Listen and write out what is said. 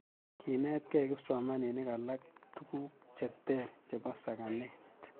kiinetgei kipsomaninik alak tuguk che ter chebo sakanet